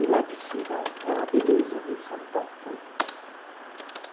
E lá de cima é uma beleza ver São Paulo todo.